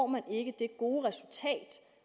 man ikke det gode resultat